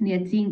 Nii et see,